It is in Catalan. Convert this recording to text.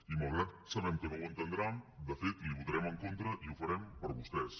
i malgrat que sabem que no ho entendrà de fet l’hi votarem en contra i ho farem per vostès